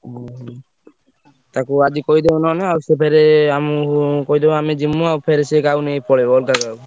ଓହୋ ତାକୁ ଆଜି କହିଦବ ନହେଲେ ଆଉ ସିଏ ଫେରେ ଆମୁକୁ କହିଦବ ଆମେ ଜିମୁ ଆଉ ଫେରେ ସେ କାହାକୁ ନେଇ ପଳେଇବ ଅଲଗା କାହାକୁ।